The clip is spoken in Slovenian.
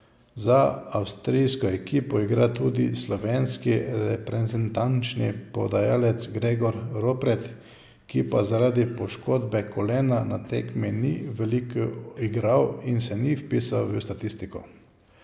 Za avstrijsko ekipo igra tudi slovenski reprezentančni podajalec Gregor Ropret, ki pa zaradi poškodbe kolena na tekmi ni veliko igral in se ni vpisal v statistiko.